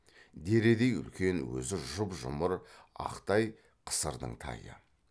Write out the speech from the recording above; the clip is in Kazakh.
дередей үлкен өзі жұп жұмыр ақ тай қысырдың тайы